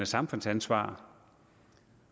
samfundsansvar